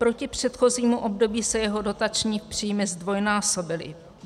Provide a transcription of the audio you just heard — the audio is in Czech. Proti předchozímu období se jeho dotační příjmy zdvojnásobily.